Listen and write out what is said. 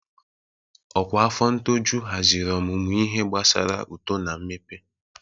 Ọkwa afọ ṅtọjụ haziri ọmụmụ ihe gbasara uto na mmepe.